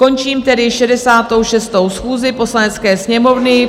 Končím tedy 66. schůzi Poslanecké sněmovny.